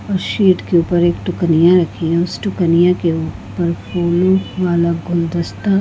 उस शीट के ऊपर एक टुकनिया रखी है उस टुकनिया के ऊपर फूलों वाला गुलदस्ता--